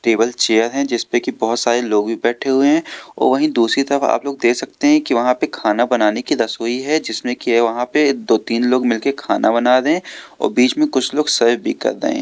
Table chair है जिसपे की बहोत सारे लोग भी बैठे हुए हैं वहीं दूसरी तरफ आप लोग दे सकते हैं कि वहां पे खाना बनाने की रसोई है जिसमें कि वहां पे दो तीन लोग मिल के खाना बना रहे हैं और बीच में कुछ लोग सर्व भी कर रहे हैं।